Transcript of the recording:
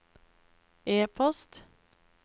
e-post